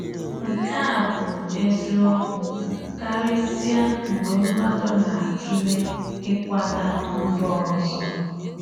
Nke a bụ eziokwu karịsịa mgbe mmadụ na-atụle ịkwaga mba ọzọ.